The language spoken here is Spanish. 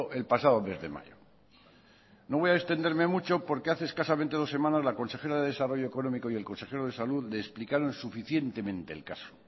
el pasado mes de mayo no voy a extenderme mucho porque hace escasamente dos semanas la consejera de desarrollo económico y el consejero de salud le explicaron suficientemente el caso